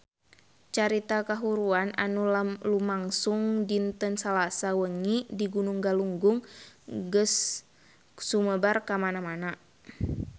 Carita kahuruan anu lumangsung dinten Salasa wengi di Gunung Galunggung geus sumebar kamana-mana